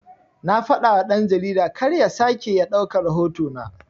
Na fadawa dan-jarida karya sake ya ɗauka rahoto na